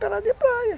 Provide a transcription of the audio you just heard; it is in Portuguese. Pelado de praia.